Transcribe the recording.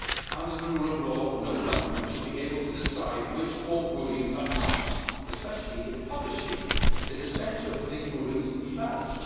Under the rule of law, no government should be able to decide which court rulings are published, especially if publishing is essential for these rulings to be valid.